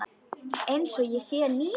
Einsog ég sé ný.